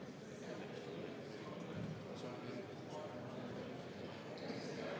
Austatud istungi juhataja!